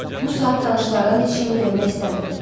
Bu saat tanışlardan heç kimi görmək istəmirdi.